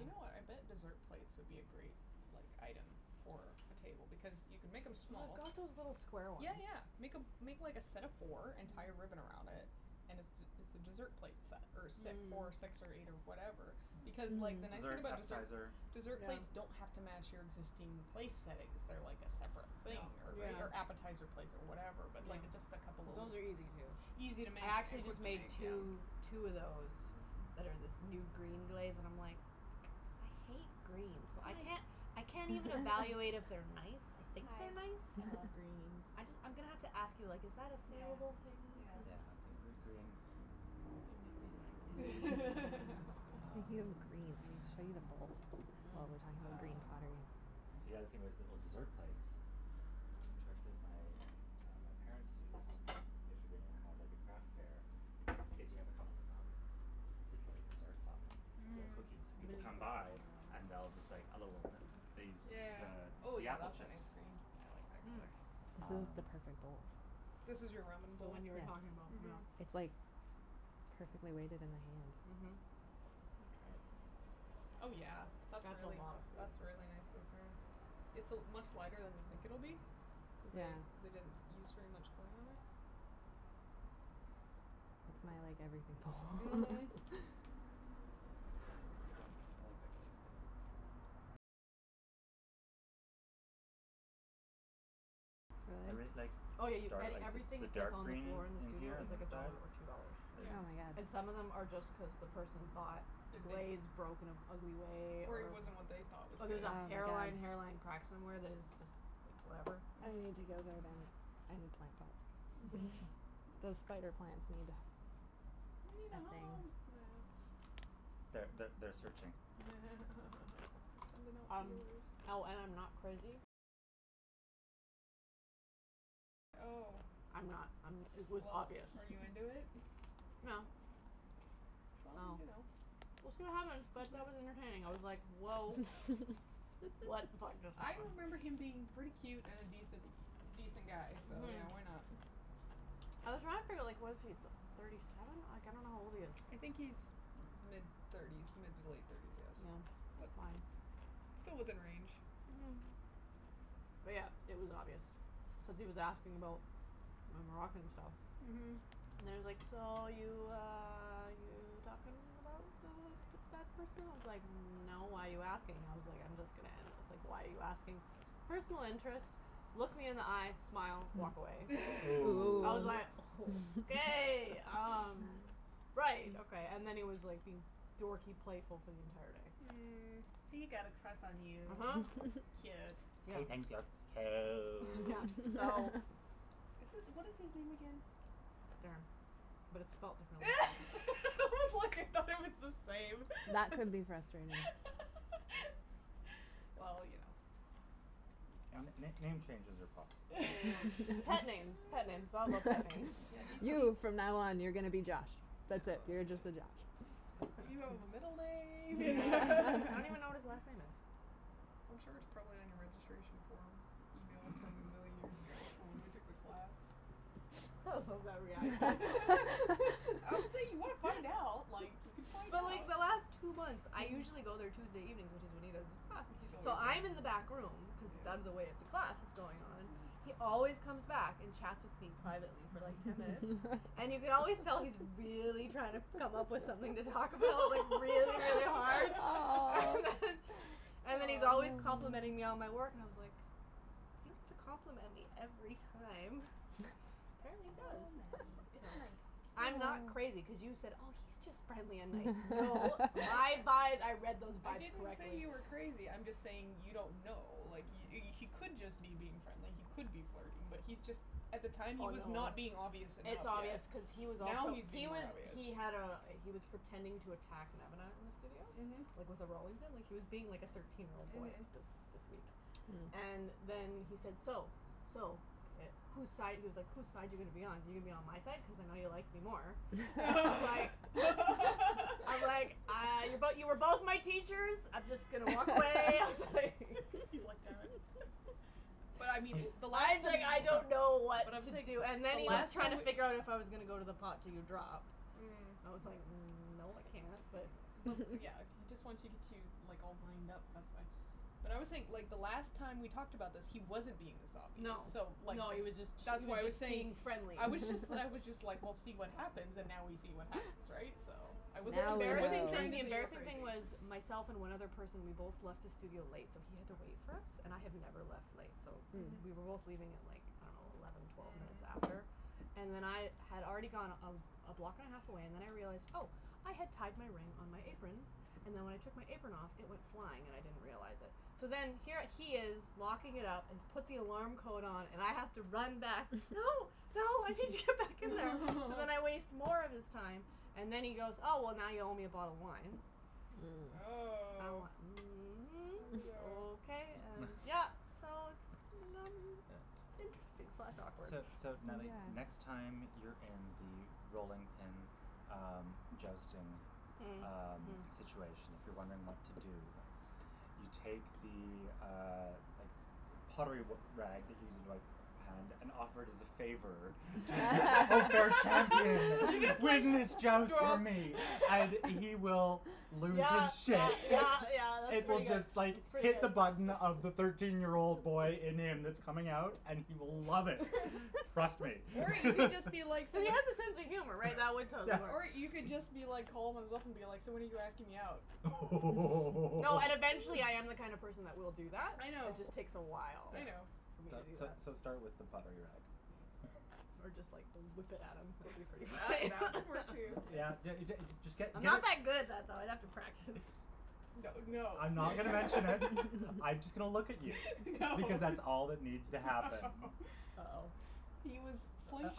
You know what, I bet yeah. dessert plates would be a great, like, item for a table because you can make them small. I've got those little square ones. Yeah, yeah, make a make like a set of four and tie a ribbon around it and it's it's a dessert plate set or si- Mm. four, six or eight or whatever because, like, the Mm, nice thing dessert, Mhm. about deser- appetizer. dessert plates don't Yeah. have to match your existing place settings. They're like a separate Yeah. thing or right Yeah. or appetizer plates or whatever but, Yeah. like, just a couple of l- Those are easy, too. Easy to make I actually and quick just to make made two two of those that are this new green glaze and I'm, like, I hate green, so I can't I I can't even evaluate if they're nice. I think they're nice. I just I'm gonna have to ask you, like is that a salable thing cuz Yeah, type gr- green, we we like it. Speaking of Um. green, I'll show you the bowl, Mm. while we're talking about green Um, pottery. the other thing was little dessert plates. A trick that my, uh, my parents used, if you're gonna have like a craft fair, is you have a couple of them out with little desserts on them or Mhm. cookies. People come by and they'll just like a little b- they use the Yeah. Oh, the yeah, apple that's a chips. nice green. I like that Mm. color. This is Um the perfect bowl. This is your ramen The bowl? one you were talking about, yeah. Mhm. Yes. It's, like, perfectly weighted in my Mhm. hand. Let me try it. Oh, yeah, that's That's a really lotta food. that's really nicely thrown. It's a much lighter than you think it'll be cuz Yeah. they they didn't use very much clay on it. It's my, like, everything Mhm. bowl. That's a good one. I like that glaze, too. Everything's like Oh, yeah, y- dark, a- like everything the that's dark on the green floor in the in in studio here is on the like a inside dollar or two dollars. Yeah. Oh, is And some of them my god. are just cuz the person thought the glaze broke in an ugly way Or it or wasn't what they thought was or good. there's a Oh, hairline my hairline crack god. somewhere that is just, like, whatever. I need to Mhm. go there now. I need plant pots. Mhm. Those spider plants need They need a a home, thing. yeah. Th- th- they're searching. Sending out Um, feelers. oh, and I'm not crazy. I'm not I'm it was Well, obvious. are you into it? No. Well, Well, you know, we'll it's see like what happens, but that was entertaining. I was like, woah. What the fuck just I happened. remember him being pretty cute and an a decent, a decent guy so, Mhm. yeah, why not? I was trying to figure out, like, what is he, thirty seven? Like, I don't know how old he is. I think he's mid thirties, mid to late thirties, yes, Yeah, that's but fine. still within range. Mhm. But, yeah, it was obvious cuz he was asking about my Moroccan stuff. Mhm. And he was like, so, you, uh, you talking about, uh, that person? I was like, no, why are you asking? I was like, I'm just gonna end this. Like, why are you asking? Personal interest, look me in the eye, smile, walk away. Ooh. I was like, Ooh. okay, um, right, okay. And then he was being like dorky playful for the entire day. Mm. He got a crush on you. uh-huh. Cute. Yeah. He thinks you're Yeah, cute. so It's it's what is his name again? Darren, but it's spelled differently. I was like, I thought it was the same. That could be frustrating. Well, you know. N- n- Yeah. name changes are possible. Pet names, pet names, all about pet names. Yeah, he seems You, from now on, you're gonna be Josh. That's it, you're just a Josh. You don't have a middle name Yeah. I don't even know what his last name is. I'm sure it's probably on your registration form email from a million years ago from when we took the class. I love that reaction. Obviously if you want to find out, like, you could find But, out. like, the last two months, I usually go there Tuesday evenings, which is when he does his class, He's always so there. I'm in the back room cuz it's out of the way of the Yeah. class that's going on, he always comes back and chats with me privately for like ten minutes, and you can always tell he's really trying to come up with something to talk about, like, really, really hard. And then and then he's always Oh. complimenting me on my Oh. work and I was like, you don't have to compliment me every time. Oh, Apparently he does. Oh, Nattie, it's Nattie, it's nice. nice. I'm not crazy, cuz you said, oh, he's just friendly and nice. No, my vibe, I read those I vibes didn't say correctly. you were crazy, I'm just saying you don't know. Like, he he could just be being friendly, he could be flirting, but he's just, at the time he Oh, was no. not being obvious enough It's yet. obvious cuz he was Now also he's He being more was obvious. he had a he was pretending to attack Nemana in the studio, Mhm. like, with a rolling pin. Like, he was being like a thirteen year old boy Mhm. this this week. And then he said, "So, so, who's side," he was like, who's side you gonna be on? You going to be on my side, cuz I know you like me more. I was like I was like, uh, but you were both my teachers. I'm just going to walk away. I was like He's like, damn it. But I mean He- the last time that okay, I don't know so what But I'm to saying do. so And then the he was last trying time to just figure out if I was gonna go to the pot to do drop. Mm. I was like, no, I No, can't, but but, yeah, he just wants to get you, like, all wind up, that's why. But I always think the last time we talked about this, he wasn't being this obvious No, so, like, no, he was just that's he why was I was just saying, being friendly. I was just I was just like, we'll see what happens, and now we see what happens, right, so I wasn't The Now embarrassing trying thing to the we know. say you were embarrassing thing crazy. was myself and one other person, we both left the studio late, so he had to wait for us. And I have never left late, so we were both Mhm. Mhm. leaving at, like, I don't know, eleven, twelve minutes after Mhm. and then I had already gone a a block and a half away and then I realized, oh, I had tied my ring on my apron and then when I took my apron off, it went flying and I didn't realize it. So then here he is locking it up and he's put the alarm code on and I have to run back. No, no, I need to get back in there! So then I waste more of his time and then he goes, oh, well, now you owe me a bottle of wine. Mm. I'm Oh. like, I mhm, don't okay, know. and yeah, so it's Yeah. interesting slash awkward. So so, Natalie, next Yeah. time you're in the rolling pin, um, jousting, Mm. um, Mhm. situation, if you're wondering what to do, you take the, uh, like, pottery r- rag that you use to wipe your hand and offer it as a favor to the unfair You champion. just Leave like him his joust for me and he will lose Yeah, his yeah, shit. yeah, yeah, that's It will pretty good. just, That's like, pretty hit the good. button of the thirteen year old boy in him that's coming out and he will love it. Trust me. Or you can just be like s- He has a sense of humor, right? That would Yeah. totally work. Or you could just be like calm and stuff and be like, so when are you asking me out? Oh! No, and eventually I am the kind of person that will do that. I It know. just takes a while I know. for me So to do so that. so start with the pottery rag. Or just, like, whip it at him. That would be pretty That funny. that could work, too, yes. Yeah, d- d- just get I'm not get that good at that, though. I'd have to practice. That would no. I'm not gonna mention it. I'm just going to look at you No. because that's all that needs to happen. No. Oh. He was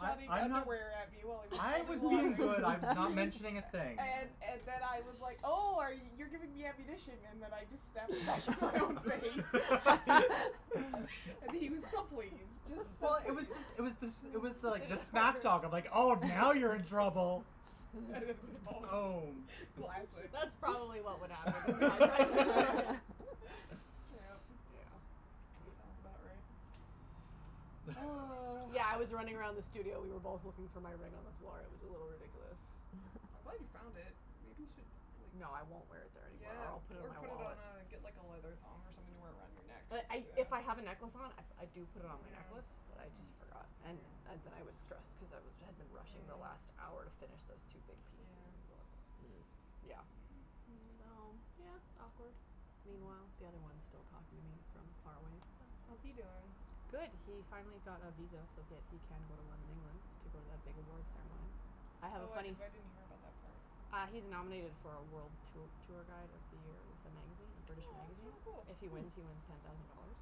I I I'm not underwear at me while he was I throwing was being pottery. good. I was not He mentioning a was thing. And and then I was like, oh, are y- you're giving me ammunition and then I just snapped it back in my own face. And he was so pleased, just so Well, it was pleased. just it was this it was like the smack talk of, like, oh, now you're in trouble. Boom. Classic. That's probably what would happen if I tried to go in. Yep. Yeah. Sounds about right. Oh. Yeah, I was running around the studio. We were both looking for my ring on the floor. It was a little ridiculous. I'm glad you found it. Maybe you should, like No, I won't wear it there anymore or Yeah, I'll put it in or my put it on wallet. a, get like a leather thong or something to wear it around your neck. But I if I have a necklace on, I do put it on my necklace, but I Yeah. just Mhm. forgot. And and then I was stressed because I had been rushing the last hour to Mm. finish those two big pieces. Yeah. Yeah. Hmm. So, Mm. yeah, awkward. Meanwhile, the other one's still talking to me from far away. How's he doing? Good. He finally got a visa so that he can go to London, England to go to that big awards ceremony. I have a Oh, I funny f- didn't hear about that part. Uh he's nominated for a world t- tour guide of the year. It's a magazine, a British magazine. Oh, If that's he really wins, cool. he wins ten thousand dollars.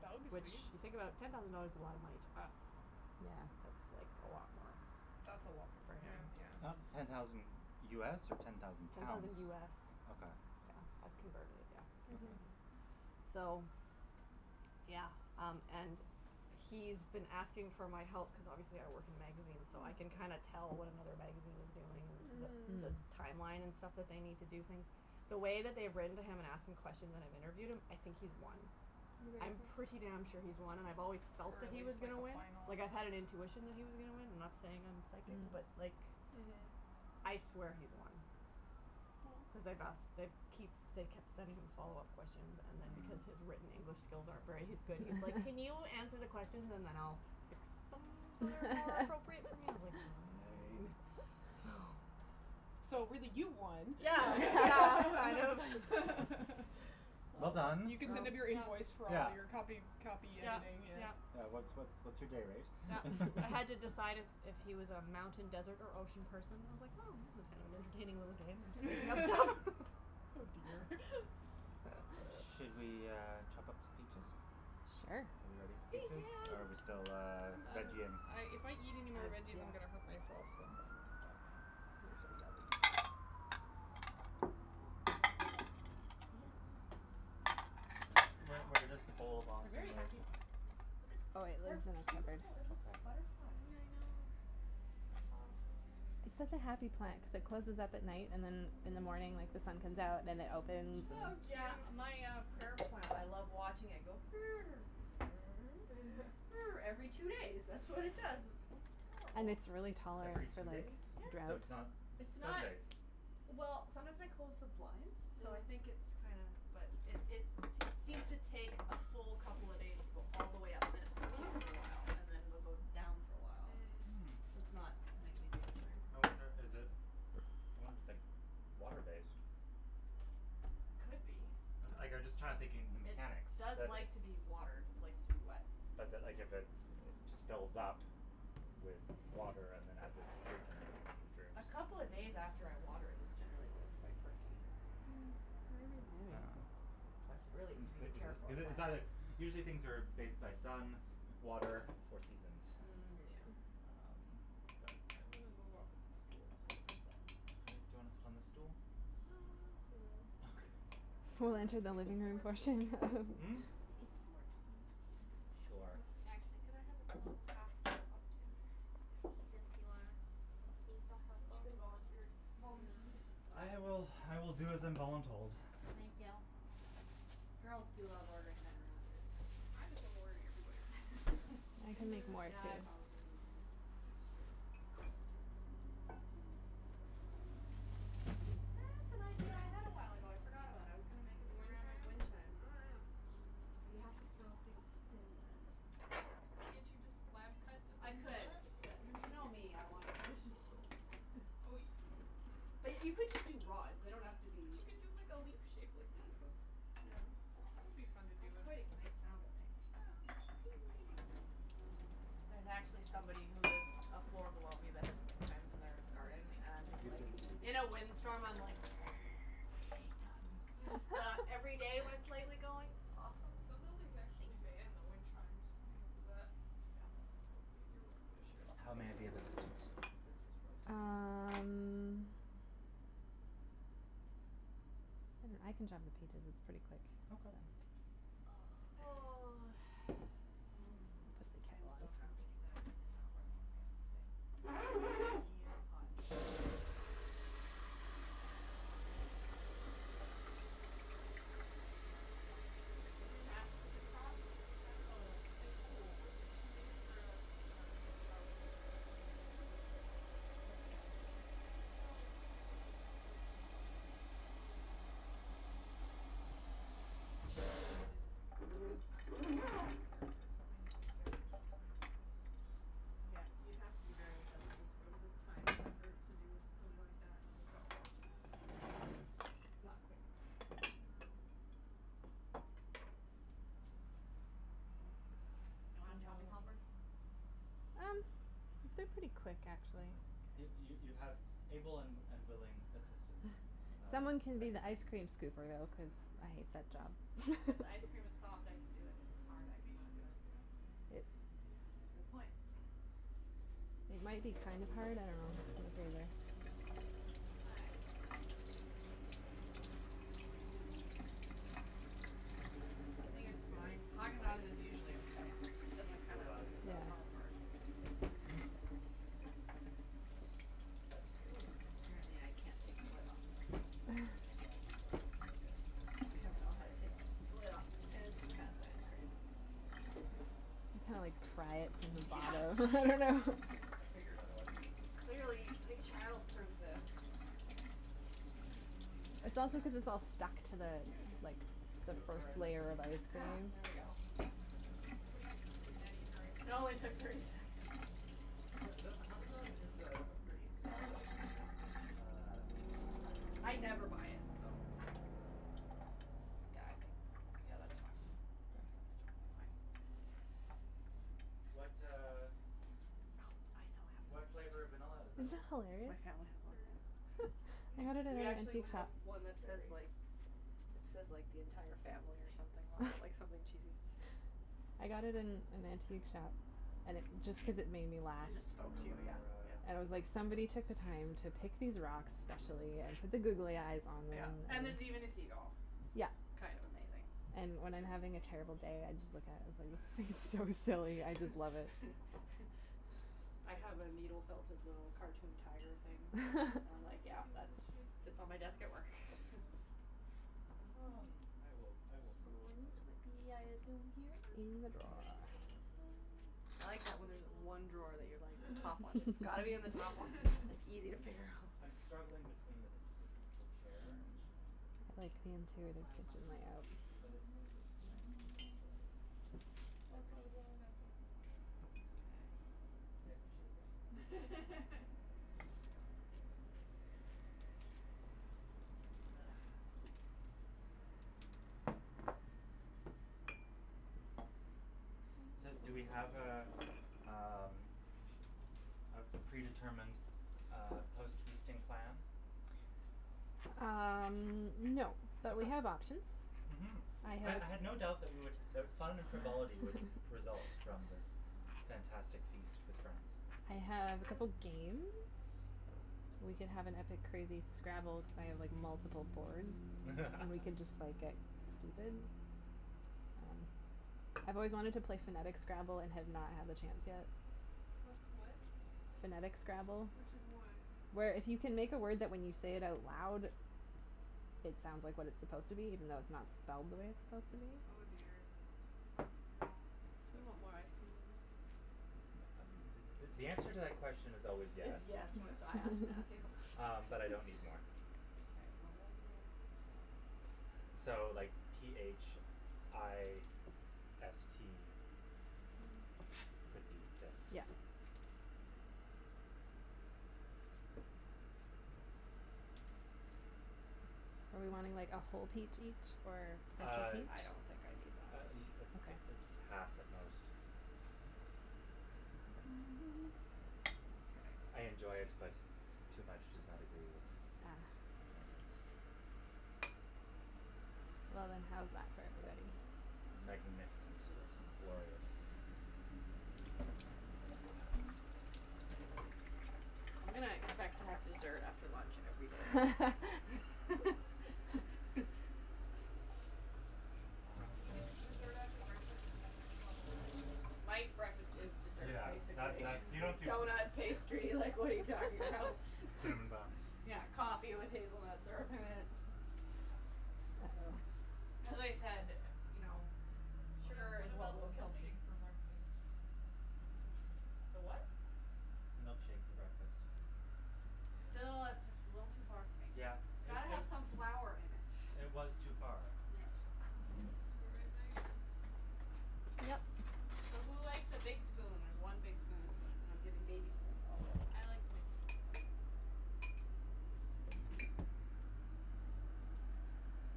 That would be Which, sweet. you think about it, ten thousand dollars is a lot of money to us. Yeah. That's like a lot more That's a lot more for for him, him. Uh yeah. ten thousand US or ten thousand Ten thousand pounds? US. Okay. Yeah, I've converted it, yeah. Mhm. So, yeah, um, and he's been asking for my help cuz obviously I work in magazines, so I can kinda Mm. tell what another magazine is doing and the the Mhm. timeline and stuff that they need to do things. The way that they've written to him and asked him questions and I've interviewed him, I think he's won. You I'm pretty think so? damn sure he's won, and I've always Or felt that at he was least like gonna a win. Like, I had an finalist. intuition that he was gonna win. I'm not saying I'm psychic, but like Mhm. I swear he's won cuz they've asked Well they keep they kept sending him follow up questions and then because his Mm. written English skills aren't very good, he's like, can you answer the questions and then I'll fix them so they're more appropriate for me? I was like, fine. So So, really, you won. Yeah, yeah, I know. Well done. You could send him your invoice for all your copy Yeah. copy Yeah, editing, yes. yeah. Yeah, what's what's what's your day rate Yeah. I had to decide if if he was a mountain, desert or ocean person. I was like, oh, this is kind of an entertaining little game. Oh, dear. Should we, uh, chop up some peaches? Sure. Are we ready for peaches? Or are we still, Peaches. uh, I'm I'm veggie ing? if I eat anymore I, veggies, I'm going to hurt yeah. myself, so I'm going to stop now. They're so yummy. Where where does the bowl of They're awesome very live? happy plants in here. Oh, it They're lives in the cupboard. beautiful. It looks Okay. like butterflies. I know. So soft. It's such a happy plant cuz it closes up at night and then in the morning, like, the sun comes out and then it opens Oh, and cute. Yeah. My, uh, prayer plant, I love watching it go Every two days, that's what it does. It's And adorable. it's really Every tolerant to, two like, days? So drought, it's Yeah. not It's sun not like based? Well, sometimes I close the blinds, so I think it's Mm. kinda, but it it seems to take a full couple of days to go all the way up and then it's perky for a while and then it'll go down for a while, Hmm. so Mm. it's not nightly, daily. Interesting. I wonder, is it I wonder if it's, like, water based. Could be. Like I'm just trying to think the It mechanics does that it like to be watered, likes to be wet. But that, like, if it just fills up with water and then as its drinking it, it droops. A couple of days after I water it is generally when it's quite perky. Mm, maybe. Maybe, Yeah. but it's a really easy to care for Is it it's either plant. usually things are based by sun, water or seasons. Yeah. Mm. Um, but I'm I'm gonna move off of this stool's hurting my butt. Okay, do you wanna sit on the stool? No, I'll go sit over there. Okay. Would We'll you mind enter the getting me living some room more tea? portion of Mm? Can you get me some more tea, please? Sure. Actually, could I have a little half top up, too? Since you are being so Since you've helpful. been volunteered, volunteed. Yeah. I will, I will do as I'm voluntold. Thank you. Girls do love ordering men around, it is kind of fun. I just love ordering everybody around, I don't care. I can make Gender. more, Yeah, too. I probably do, too. That's true. Oh, this is cute. That's an idea I had a while ago. I forgot about. I was gonna make a The wind ceramic chime? wind chime. Oh, yeah. But you have to throw things thin then. Well, can't you just slab cut a I thin could, slab? but Wouldn't you know that be me, I want a easier? traditional Oh, you But Hmm. y- you could just do rods. They don't have to But be you could do like a leaf shape like this. That's, I don't Yeah. know, that would be fun to do. That's quite a nice sound it makes. Yeah. There's actually somebody who lives a floor below me that has wind chimes in their garden Thank and I'm just You've like been teed. In you. a wind storm, I'm like I hate them. Mm. But every day when it's lightly going, it's awesome. Some buildings Thank actually you. ban the wind chimes because of that. Yeah. So, you you're welcome to share this How thing. may I be of Just gonna move assistance? this cuz this was roasting me. Yes. Um, I I can chop the peaches. It's pretty quick, so Okay. Oh, Oh. thanks. Mm. I am so happy that I did not wear long pants today. Yeah, It's hot. it's hot. It's hot. Is that cross stitch? It It's a This is. sas- it's a cross stitch sa- oh, like it's like cruel work. Yeah, she made it for a s- a set prop for Some cabin thing? Yeah. No, it was for her ex boyfriends, uh, video movie project or Mm. something. They needed the head of sasquatch obsessed character, so they needed decorations for his house. Yeah, you'd have to be very obsessed with it to go to the time and effort to do something like that of a sasquatch. Yeah. It's not quick. No. Hmm. You want a chopping helper? Um, they're pretty quick, actually. Okay. You you you Okay. have able and and willing assistants, uh, Someone can at be your the ice beckon. cream scooper, though, cuz Okay. I hate that job. If ice cream is soft, I can do it. If it's hard, I Maybe you should cannot do go it. take it out. And they'll It be soft by the Yeah, time it's a good point. it might be kind of hard, I don't know. Hot. I do. I I was think it's just going to fine. Haagen Dazs is silently usually okay. It tease doesn't you kinda about it go Yeah. without hard hard. mentioning anything. But the you wouldn't get to laugh as much, That's so. Ooh, true. apparently I can't take the lid off, though. I'm glad you felt comfortable sharing it. I don't know It how to was take more fun. the lid off of fancy I'm not pants ice actually cream. done. I was playing. You kinda like pry it from Yeah. the bottom. I figured, otherwise you wouldn't have continued. Clearly they childproofed this. Mm, It's Haagen also cuz Dazs. it's all stuck to the, like, the Do you require first layer assistance? of ice Ah, cream. there we go. Nobody gets between Nattie and her ice It cream. only took thirty seconds. The the Haagen Dazs is a pretty solid, uh packaged I never buy it, so Yeah. Yeah, I think Yeah, that's fine. That's totally fine. Mm. What, uh, Oh, I so have one what flavor of vanilla of is it? Isn't that these. My hilarious? family It's has one, berry vanilla. yeah. They Hmm? had it at We an actually antique have shop. one that Berry. says, Berry? like, Okay. it says, like, the entire I family or think, something that's on what I it, can like see something from here. cheesy. I got it in an antique shop and it just cuz it made me laugh. It Do just you spoke remember to you, what yeah, our, yeah. And it was uh, our like our somebody post took the time feasting to pick these rocks activity is? specially and put the googly eyes on Yeah, them and and there's even a seagull. Yeah. Kind of amazing. And when I'm No, I having a don't know terrible if she day, has I a just look specific at it plan. and it's so Okay. silly, I just love it. We'll I figure it out. have a needle felted little cartoon tiger Are thing. you hot from the sun I'm on like, you? Do yeah, you want that's the shade this, sits on my desk at uh, work. curtain closed? Um, I will, I will move in the Spoons would be, I assume, here? In the near drawer. future. Okay. I You look like that, you when there's look a little one drawer that roasting. you're, like, the top one. Just It's a got to be in the top one. tad. It's easy to I'm figure out. I'm struggling between the this is a comfortable chair and an uncomfortable I like the temperature. Well, interior of that's the why I was kitchen offering to help layout. you, so you But wouldn't have to it's move. it's nice to have natural light. I Well, that's why I was appreciate only gonna close this one. Mkay. I appreciate the offer. Thank you. You're welcome. Ah. So, do we have a, um, a a predetermined uh post feasting plan? Um, no, but we Okay. have options. Mhm. I I have I had no doubt that we would that fun and frivolity would result from this fantastic feast with friends. I have a Uh. couple games. We can have an epic, crazy Scrabble. Cuz I have, like, multiple boards and we can just, like, get stupid. Um, I've always wanted to play phonetic Scrabble and have not had the chance yet. What's what? Phonetic Scrabble. Which is what? Where if you can make a word that when you say it out loud it sounds like what it's supposed to be even though it's not spelled the way it's supposed to be. Oh, dear, that sounds terrible. You want more ice cream than this? Th- th- the answer to that question is always Is is yes. yes when it's I ask Matthew. Um, but I don't need more. K, well, what we'll Um, so, like, p h i s t could be fist? Yeah. Are we wanting, like, a whole peach each or half a Uh peach? I don't think I need that uh much. uh a Okay. half at most. I I Mkay. enjoy it, but too much does not agree with Ah. my innards. Well then, how's that for everybody? Magnificent. Delicious. Glorious. Ah. I'm gonna expect to have dessert after lunch every day now. Yes. Yeah, Um when you get to dessert after breakfast, it's next level, Nattie. My breakfast is dessert, Yeah, that basically. that's You don't do Donut, pastry, like, what are you talking about? Cinnamon bun. Yeah, coffee with hazelnut syrup in it. Mhm. As I said, you know, What sugar what is what about the will kill me. milkshake for breakfast? The what? Milkshake for breakfast. Yeah. Still, that's just a little too far for me. Yeah, It's it got to it have some flour in it. It was too far. Yeah. You all right, Meg? So, who likes a big spoon? There's one big spoon and I'm giving baby spoons to all the other ones. I like the big spoon. Okay.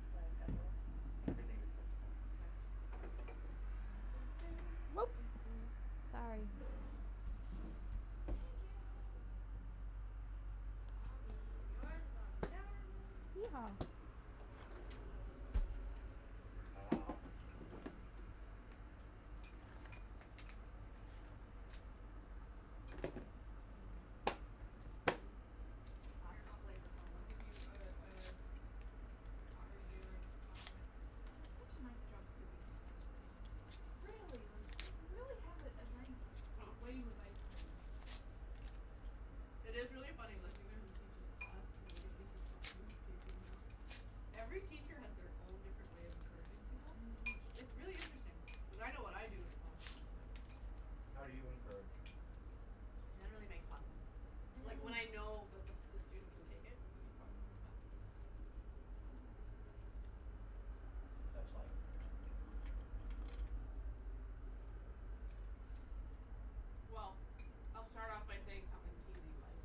Is that acceptable? Everything's acceptable. K. Oop. Sorry. Thank you. Mm mm. On me. And yours is on the counter, Meagan. Yeehaw. Mmm. Mmm. Mmm. Noms. Noms. Mhm. Mhm. Here, I Classic flavor I'll combo. give you a a pottery daring compliment. Natalie, such a nice job scooping this ice cream. Really, like, you really have a a nice way with ice cream. It is really funny listening to him teach his class and the way he like compliments people, you know. Every teacher has their own different way of encouraging people. It's Mhm. it's really interesting. Cuz I know what I do in a classroom, but How do you encourage? I generally make fun of them. Like when I know that the the student can take it. Okay. Mhm. But Such like? Mm. Well, I'll start off by saying something teasey, like,